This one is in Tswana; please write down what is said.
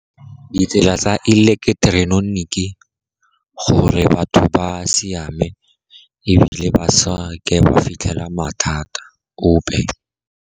Ditsela tsa eleketeroniki, gore batho ba siame ebile ba seke ba fitlhela mathata ope.